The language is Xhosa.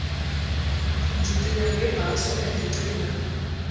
ndicinga ngebhaso endicinga